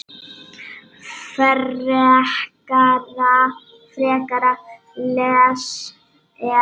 Frekara lesefni á Vísindavefnum: Hversu margir bjuggu á Íslandi þegar Snorri Sturluson var uppi?